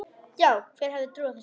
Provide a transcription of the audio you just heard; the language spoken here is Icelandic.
Já, hver hefði trúað þessu?